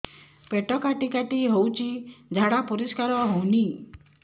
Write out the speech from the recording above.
ପେଟ କାଟି କାଟି ହଉଚି ଝାଡା ପରିସ୍କାର ହଉନି